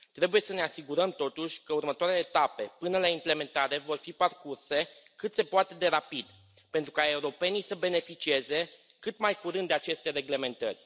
Trebuie să ne asigurăm, totuși, că următoarele etape, până la implementare, vor fi parcurse cât se poate de rapid, pentru ca europenii să beneficieze cât mai curând de aceste reglementări.